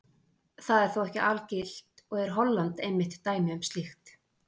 það er þó ekki algilt og er holland einmitt dæmi um slíkt